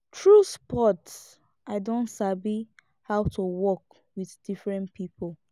through sports i don sabi how to work with different pipo